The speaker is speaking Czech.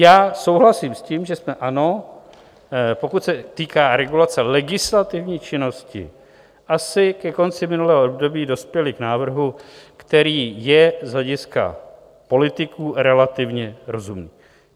Já souhlasím s tím, že jsme - ano, pokud se týká regulace legislativní činnosti - asi ke konci minulého období dospěli k návrhu, který je z hlediska politiků relativně rozumný.